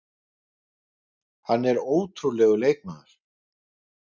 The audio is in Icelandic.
Hann er ótrúlegur leikmaður.